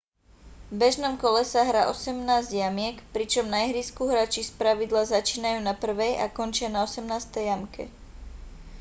v bežnom kole sa hrá osemnásť jamiek pričom na ihrisku hráči spravidla začínajú na prvej a končia na osemnástej jamke